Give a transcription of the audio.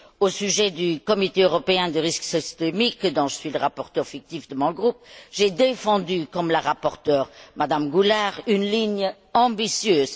Au sujet du Comité européen du risque systémique, pour lequel je suis le rapporteur fictif de mon groupe, j'ai défendu, comme la rapporteure, Mme Goulard, une ligne ambitieuse.